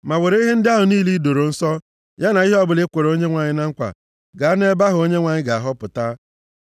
Ma were ihe ndị ahụ niile i doro nsọ, ya na ihe ọbụla i kwere Onyenwe anyị na nkwa gaa nʼebe ahụ Onyenwe anyị ga-ahọpụta.